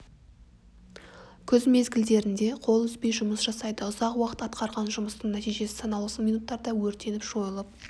күз мезгілдерінде қол үзбей жұмыс жасайды ұзақ уақыт атқарған жұмыстың нәтижесі санаулы минуттарда өртеніп жойылып